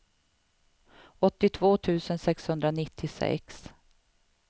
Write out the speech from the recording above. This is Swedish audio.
åttiotvå tusen sexhundranittiosex